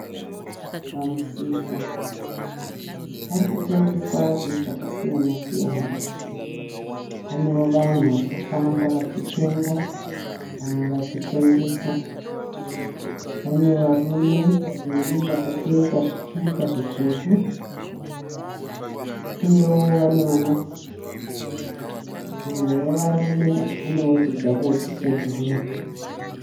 Pamusika. Parikutengeswa zvinhu zvakasiyana siyana. Panewo vanhu varikufamba vachitenga vamwe vachitengesa. Pane varume vaviri vakapfeka zvikipa zvitsvuku uyewo vane mamasiki. Mumwe wevarume anewo chijaketi chebhuruu.